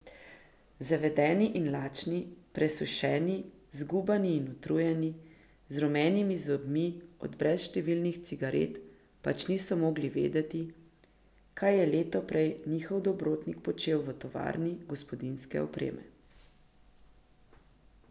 Zavedeni in lačni, presušeni, zgubani in utrujeni, z rumenimi zobmi od brezštevilnih cigaret pač niso mogli vedeti, kaj je leto prej njihov dobrotnik počel v tovarni gospodinjske opreme.